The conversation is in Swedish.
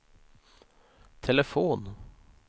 telefon